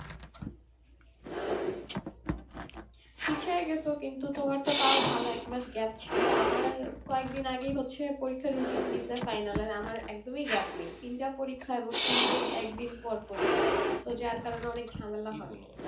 পিছায়ে গেছো কিন্তু তোমার তো তাও ভালো এক মাস gap ছিল, আমার কয়েকদিন আগেই হচ্ছে পরীক্ষার routine দিসে final এর আমার একদমই gap নেই তিনটা পরীক্ষা এবং তিনটেই একদিন পর পরি তো যার কারণে অনেক ঝামেলা হয়ে